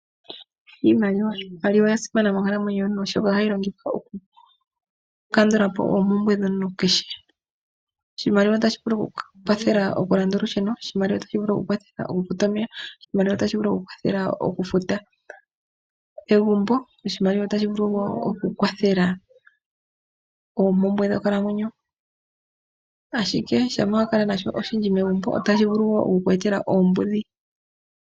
Iimaliwa oya simana monkalamwenyo yomuntu, oshoka ohayi longithwa oku kandula po oompumbwe dhomuntu kehe, oshimaliwa otashi vulu oku kukwathela okufuta olusheno, oshimaliwa otashi vulu oku ku kwathela okufuta omeya, oshimaliwa otashi vulu oku ku kwathela okufuta egumbo, oshimaliwa otashi vulu oku ku kwathela oompumbwe dhonkalamwenyo, ashike ngele owakala nasho oshindji megumbo otashi vulu shiku etele oombuudhi.